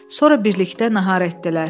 Sonra birlikdə nahar etdilər.